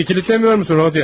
Qapını kilidləmirsən, Rodiya?